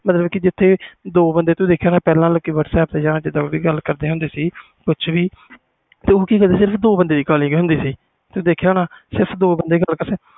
ਜਿਥੇ ਪਹਿਲੇ ਦੋ ਬੰਦੇ whatsapp ਤੇ ਗੱਲ ਕਰਦੇ ਹੁੰਦੇ ਸੀ ਕੁਛ ਵੀ ਪਹਿਲੇ ਦੋ ਬੰਦਿਆਂ ਦੀ ਕਾਲਿੰਗ ਹੁੰਦੀ ਸੀ ਤੂੰ ਦੇਖਿਆ ਹੁਣ ਪਹਲੇ ਦੋ ਬੰਦੇ ਗੱਲ ਕਰ ਸਕਦੇ ਸੀ